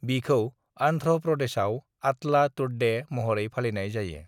बिखौ आन्ध्र' प्रदेशाव आतला तड्डे महरै फालिनाय जायो।